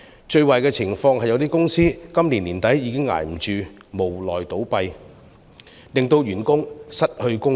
最壞的情況是有些公司今年年底已支持不住，無奈倒閉，令員工失去生計。